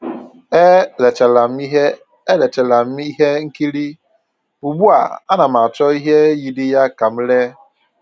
E lecharam ihe E lecharam ihe nkiri, ugbua, ana m achọ ihe yiri ya ka m lee